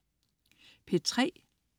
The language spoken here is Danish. P3: